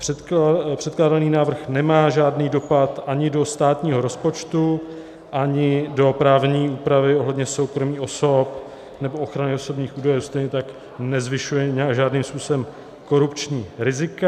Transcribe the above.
Předkládaný návrh nemá žádný dopad ani do státního rozpočtu, ani do právní úpravy ohledně soukromí osob nebo ochrany osobních údajů, stejně tak nezvyšuje žádným způsobem korupční rizika.